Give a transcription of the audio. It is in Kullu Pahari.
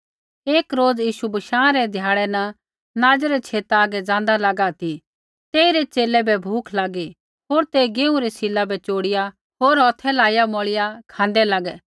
एक रोज़ यीशु बशाँ रै ध्याड़ै न नाज़ै रै छेतै हागै ज़ाँदा लगा ती तेइरै च़ेले बै भूख लागी होर ते गेहूँ रै सिला बै चोड़िया होर हौथै लाइया मौइया खाँदै लागै